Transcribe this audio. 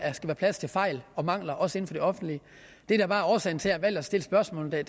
plads til fejl og mangler også inden for det offentlige det der bare er årsagen til har valgt at stille spørgsmålet i